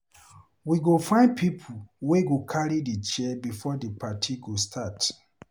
We go find pipo wey go carry chair before di party go start.